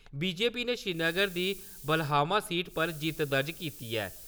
BJP ने श्रीनगर दी Balhama seat पर जित्त दर्ज कीती ऐ।